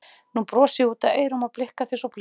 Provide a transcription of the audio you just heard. Nú brosi ég út að eyrum og blikka þig svo blítt.